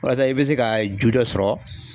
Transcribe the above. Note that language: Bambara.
Walasa i be se ka ju dɔ sɔrɔ